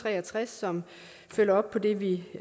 tre og tres som følger op på det vi